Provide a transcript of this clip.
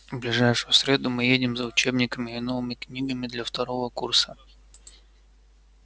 в ближайшую среду мы едем за учебниками и новыми книгами для второго курса